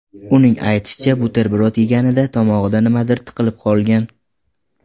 Uning aytishicha, buterbrod yeganida tomog‘ida nimadir tiqilib qolgan.